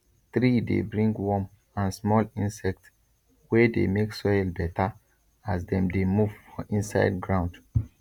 tree dey bring worm and small insect wey dey make soil better as dem dey move for inside ground